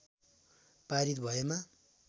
पारित भएमा